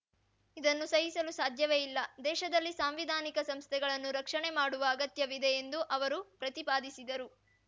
ಇದನ್ನು ಸಹಿಸಲು ಸಾಧ್ಯವೇ ಇಲ್ಲ ದೇಶದಲ್ಲಿ ಸಾಂವಿಧಾನಿಕ ಸಂಸ್ಥೆಗಳನ್ನು ರಕ್ಷಣೆ ಮಾಡುವ ಅಗತ್ಯವಿದೆ ಎಂದು ಅವರು ಪ್ರತಿಪಾದಿಸಿದರು